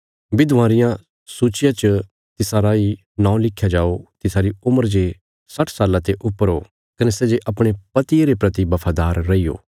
विधवां रिया सूचिया च तिसा राई नौं लिख्या जाओ तिसारी उम्र जे साट्ठ साल्लां ते ऊपर हो कने सै जे अपणे पतिये रे परति बफादार रैई हो